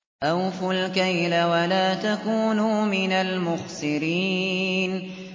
۞ أَوْفُوا الْكَيْلَ وَلَا تَكُونُوا مِنَ الْمُخْسِرِينَ